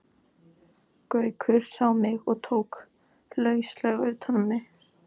Gaukur sá mig og tók lauslega utan um mig.